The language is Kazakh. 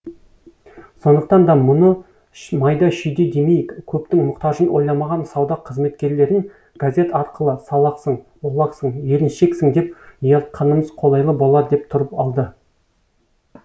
сондықтан да мұны майда шүйде демейік көптің мұқтажын ойламаған сауда қызметкерлерін газет арқылы салақсың олақсың еріншексін деп ұялтқанымыз қолайлы болар деп тұрып алды